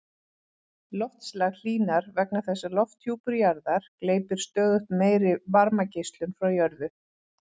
Loftslag hlýnar vegna þess að lofthjúpur jarðar gleypir stöðugt meiri varmageislun frá jörðu.